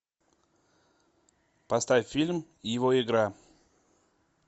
поставь фильм его игра